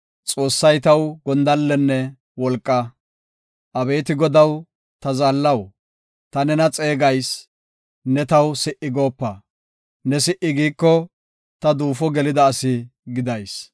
Abeeti Godaw, ta zaallaw, ta nena xeegayis; ne taw si77i goopa. Ne si77i giiko, ta duufo gelida asi gidayis.